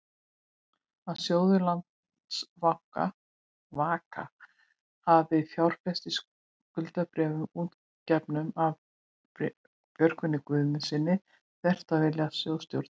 að sjóður Landsvaka hafi fjárfest í skuldabréfi útgefnu af Björgólfi Guðmundssyni, þvert á vilja sjóðsstjóra?